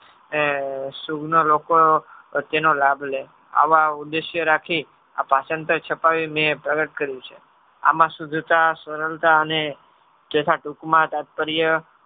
પ્રતેયયનો લાભ લેય આવા ઉદેશ્ય રાખી આ ભાષાંતર છપાવી મેં પ્રગટ કર્યું છે. આમાં શુઘ્ઘતા સ્મરણતા અને તથા ટૂંકમાં તાતપર્ય